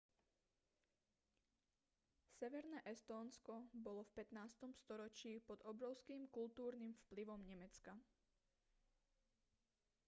severné estónsko bolo v 15. storočí pod obrovským kultúrnym vplyvom nemecka